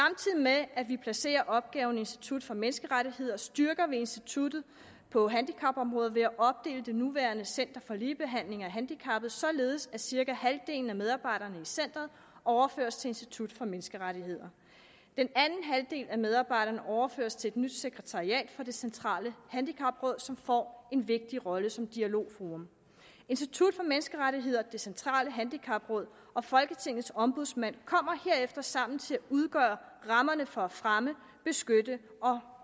med at vi placerer opgaven i institut for menneskerettigheder styrker vi instituttet på handicapområdet ved at det nuværende center for ligebehandling af handicappede opdeles således at cirka halvdelen af medarbejderne i centeret overføres til institut for menneskerettigheder den anden halvdel af medarbejderne overføres til et nyt sekretariat for det centrale handicapråd som får en vigtig rolle som dialogforum institut for menneskerettigheder det centrale handicapråd og folketingets ombudsmand kommer herefter sammen til at udgøre rammerne for at fremme beskytte og